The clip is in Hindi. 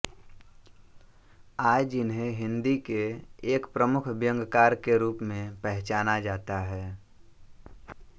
आज इन्हें हिंदी के एक प्रमुख व्यंग्यकार के रूप में पहचाना जाता है